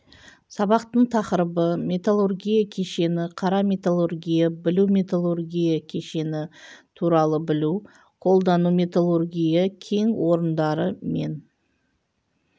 сабақтың тақырыбы металлургия кешені қара металлургия білу металлургия кешені туралы білу қолдану металлургия кен орындары мен